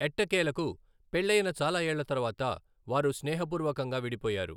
ఎట్టకేలకు, పెళ్లయిన చాలా ఏళ్ల తర్వాత, వారు స్నేహపూర్వకంగా విడిపోయారు.